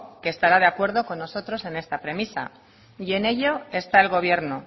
que estará de acuerdo con nosotros en esta premisa y en ello está el gobierno